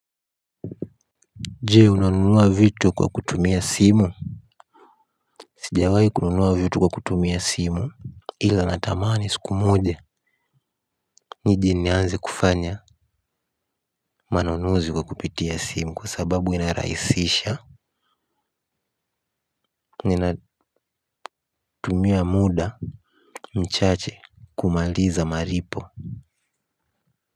Je unanunua vitu kwa kutumia simu. Sijawai kununua vitu kwa kutumia simu. Ila natamani siku moja nije nianze kufanya manunuzi kwa kupitia simu kwa sababu inarahisisha. Ninatumia muda mchache kumaliza malipo.